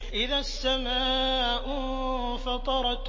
إِذَا السَّمَاءُ انفَطَرَتْ